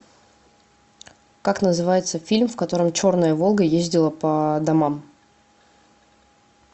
как называется фильм в котором черная волга ездила по домам